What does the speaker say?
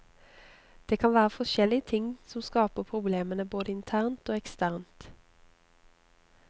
Det kan være forskjellige ting som skaper problemene, både internt og eksternt.